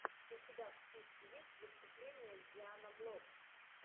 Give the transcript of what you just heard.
у тебя в списке есть выступление дианаблокс